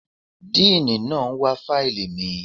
Díìní náà ń wá fáìlì mi.